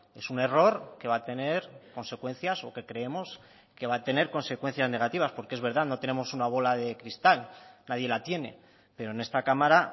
es un error que va a tener consecuencias o que creemos que va a tener consecuencias negativas porque es verdad no tenemos una bola de cristal nadie la tiene pero en esta cámara